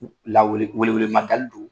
K'u la weele wele ma da li don